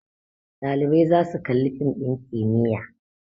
Ɗalibai za su Kalli fim din kimiyya